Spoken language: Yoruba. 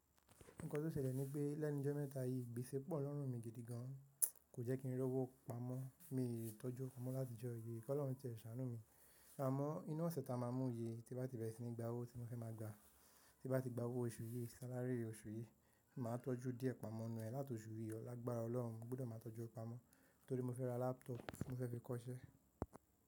Nǹkan tó ṣẹlẹ̀ ní pé lẹ́nu jọ́ mẹ́ta yìí, gbèsè pọ̀ lọ́rùn mi gidi gan, kò jẹ́ kí n rí owó pamọ́, miì tọ́jú owó pamọ́ láti ọjọ́ yìí, kí Ọlọ́run ti ẹ̀ ṣàánú mi. Àmọ́ inú ọ̀sẹ̀ ta máa mú yìí tí bá ti bẹ̀rẹ̀ sí ní gba owó tí mo fẹ́ máa gbà, tí bá ti gba owó oṣù yìí, salary oṣù yìí, màá tọ́jú díẹ̀ pamọ́ ń nù ẹ láti oṣù yìí ọ̀ọ́. Lágbára Ọlọ́run mo gbúdọ̀ máa tọ́jú owó pamọ́, torí mo fẹ́ ra laptop tí mo fẹ́ fi kọ́’ṣẹ́.